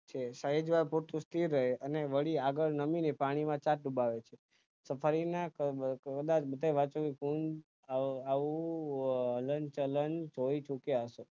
છે સહેજ વાર પૂરતું સ્થિર રહે અને વળી આગળ નમી ને પાણી ના છાંટ ઉડાવે છે સફાઇ ના કારણે ઘણીવાર બીજો વરસી કુંજ હલન હલનચલન જોઇ શક્યા હશે